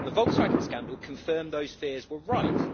The Volkswagen scandal confirmed those fears were right.